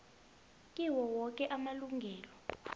kiwo woke amalunga